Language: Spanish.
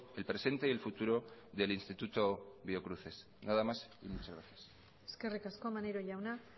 el presente y el futuro del instituto biocruces nada más y muchas gracias eskerrik asko maneiro jauna